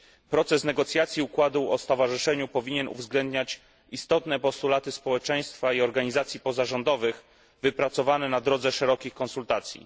Proces negocjacji układu o stowarzyszeniu powinien uwzględniać istotne postulaty społeczeństwa i organizacji pozarządowych, wypracowane na drodze szerokich konsultacji.